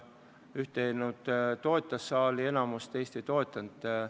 Ühte eelnõu saali enamus toetas, teist ei toetanud.